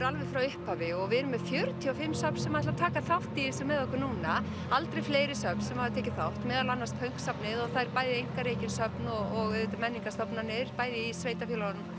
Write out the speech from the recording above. alveg frá upphafi og við erum með fjörutíu og fimm söfn sem ætla að taka þátt í þessu með okkur núna aldrei fleiri söfn sem hafa tekið þátt meðal annars Pönksafnið og það er bæði einkarekin söfn og auðvitað menningarstofnanir bæði í sveitarfélögunum